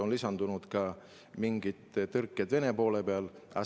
On lisandunud ka mingid tõrked Vene poole peal.